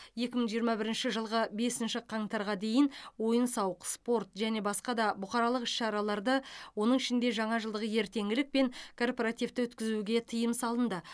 екі мың жиырма бірінші жылғы бесінші қаңтарға дейін ойын сауық спорт және басқа да бұқаралық іс шараларды оның ішінде жаңа жылдық ертеңгілік пен корпоративті өткізуге тыйым салынды